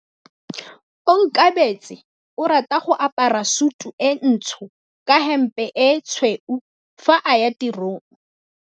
Onkabetse o rata go apara sutu e ntsho ka hempe e tshweu fa a ya tirong.